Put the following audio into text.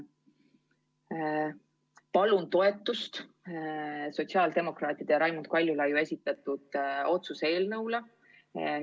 Palun toetust sotsiaaldemokraatide ja Raimond Kaljulaidi esitatud otsuse eelnõule!